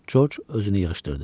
Corc özünü yığışdırdı.